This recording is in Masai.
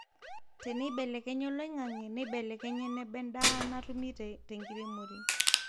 Teneibelekenya oloingange, neibelekenya eneba endaa natumi tenkiremore